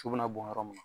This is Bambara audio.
Su bɛna bɔn yɔrɔ min na